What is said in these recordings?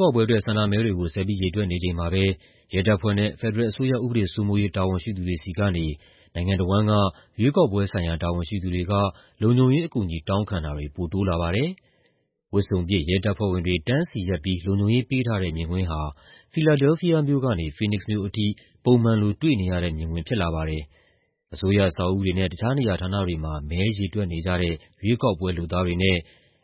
ကောက်ပွဲအတွက် ဆန္ဒမဲတွေကို ဆက်ပြီး ရေတွက်နေချိန်မှာပဲ ရဲတပ်ဖွဲ့နဲ့ ဖက်ဒရယ်အစိုးရ ဥပဒေစိုးမိုးရေး တာဝန်ရှိသူတွေဆီကနေ နိုင်ငံတဝန်းက ရွေးကောက်ပွဲဆိုင်ရာ တာဝန်ရှိသူတွေက လုံခြုံရေးအကူအညီ တောင်းခံတာတွေ ပိုတိုးလာပါတယ်။ ဝတ်စုံပြည့် ရဲတပ်ဖွဲ့ဝင်တွေ တန်းစီရပ်ပြီး လုံခြုံရေးပေးထားတဲ့ မြင်ကွင်းဟာ ဖီလာဒဲလ်ဖီးယားမြို့ကနေ ဖီးနစ်က်စ်မြို့အထိ ပုံမှန်လို တွေ့နေရတဲ့မြင်ကွင်း ဖြစ်လာပါတယ်။ အစိုးရအဆောက်အဦတွေနဲ့ တခြားနေရာဌာနတွေထဲမှာ မဲရေတွက်နေကြတဲ့ ရွေးကောက်ပွဲ လုပ်သားတွေနဲ့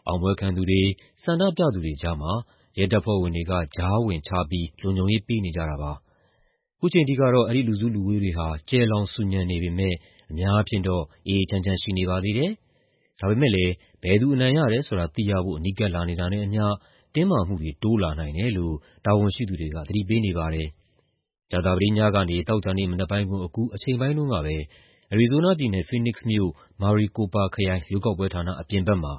အောင်ပွဲခံသူတွေ၊ ဆန္ဒပြသူတွေကြားမှာ ရဲတပ်ဖွဲ့ဝင်တွေက ကြားဝင်ခြားပြီး လုံခြုံရေး ပေးနေကြတာပါ။ ခုချိန်ထိကတော့ အဲဒီလူစုလူဝေးတွေဟာ ကျယ်လောင် ဆူညံနေပေမယ့် အများအားဖြင့်တော့ အေးအေးချမ်းချမ်း ရှိနေပါသေးတယ်။ ဒါပေမယ့်လည်း ဘယ်သူအနိုင်ရတယ်ဆိုတာ သိရဖို့ နီးကပ်လာနေတာနဲ့အမျှ တင်းမာမှုတွေ တိုးလာနိုင်တယ်လို့ တာဝန်ရှိသူတွေက သတိပေးနေပါတယ်။ ကြာသပတေးညကနေ သောကြာနေ့မနက်ပိုင်းကိုအကူး အချိန်ပိုင်းတုန်းကပဲ အရီဇိုးနားပြည်နယ်၊ ဖီးနစ်က်စ်မြို့၊ Maricopa ခရိုင် ရွေးကောက်ပွဲဌာန အပြင်ဘက်မှာ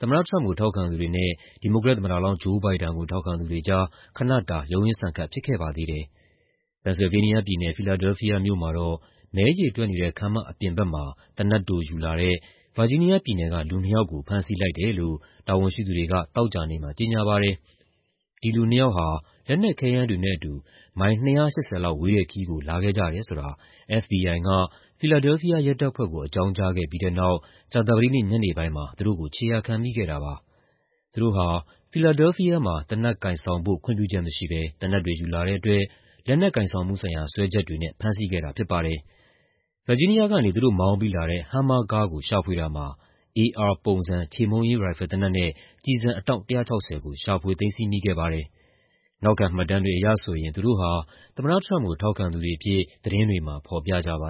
သမ္မတ Trump ကို ထောက်ခံသူတွေနဲ့ ဒီမိုကရက်သမ္မတလောင်း Joe Biden ကို ထောက်ခံသူတွေကြား ခနတာ ရုန်းရင်းဆန်ခတ် ဖြစ်ခဲ့ပါသေးတယ်။ ပန်ဆယ်လ်ဗေးနီးယားပြည်နယ်၊ ဖီလာဒဲလ်ဖီးယားမြို့မှာတော့ မဲရေတွက်နေတဲ့ ခန်းမအပြင်ဘက်မှာ သေနတ်တိုယူလာတဲ့ ဗာဂျီးနီးယားပြည်နယ်က လူနှစ်ယောက်ကို ဖမ်းဆီးလိုက်တယ်လို့ တာဝန်ရှိသူတွေက သောကြာနေ့မှာ ကြေညာပါတယ်။ ဒီလူနှစ်ယောက်ဟာ လက်နက်ခဲယမ်းတွေနဲ့အတူ မိုင် ၂၈၀ လောက်ဝေးတဲ့ခရီးကို လာခဲ့ကြတယ်ဆိုတာ FBI က ဖီလာဒဲလ်ဖီးယားရဲတပ်ဖွဲ့ကို အကြောင်းကြားခဲ့ပြီးတဲ့နောက် ကြာသပတေးနေ့ ညနေပိုင်းမှာ သူတို့ကို ခြေရာခံမိခဲ့တာပါ။ သူတို့ဟာ ဖီလာဒဲလ်ဖီးယားမှာ သေနတ်ကိုင်ဆောင်ဖို့ ခွင့်ပြုချက်မရှိဘဲ သေနတ်တွေယူလာတဲ့အတွက် လက်နက်ကိုင်ဆောင်မှုဆိုင်ရာ စွဲချက်တွေနဲ့ ဖမ်းဆီးခဲ့တာ ဖြစ်ပါတယ်။ ဗာဂျီးနီးယားကနေ သူတို့မောင်းပြီးလာတဲ့ Hummer ကားကို ရှာဖွေတာမှာ AR ပုံစံ ချေမှုန်းရေးရိုင်ဖယ်သေနတ်နဲ့ ကျည်ဆန်အတောင့် ၁၆၀ ကို ရှာဖွေသိမ်းဆည်းမိခဲ့ပါတယ်။ နောက်ခံမှတ်တမ်းတွေအရဆိုရင် သူတို့ဟာ သမ္မတ Trump ကို ထောက်ခံသူတွေအဖြစ် သတင်းတွေမှာ ဖော်ပြကြပါ